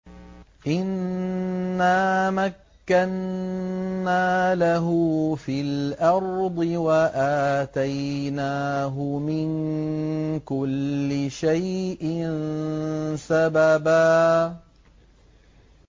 إِنَّا مَكَّنَّا لَهُ فِي الْأَرْضِ وَآتَيْنَاهُ مِن كُلِّ شَيْءٍ سَبَبًا